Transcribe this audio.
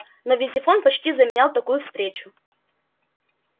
но визифон почти заменял такую встречу